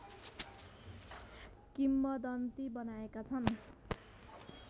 किम्बदन्ती बनाएका छन्